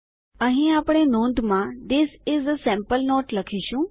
અહીં આપણે નોંધમાં this is a sample note લખીશું